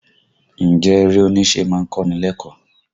Ǹjẹ́ eré oníṣe má ń kọ́ ni lẹ́kọ̀ọ́?